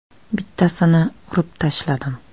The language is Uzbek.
Bittasini urib tashladim.